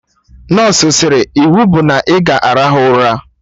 Nọsụ sịrị "iwu bụ na ọ ga arahụ ụra '!